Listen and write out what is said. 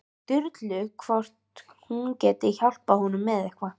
Sturlu hvort hún geti hjálpað honum með eitthvað.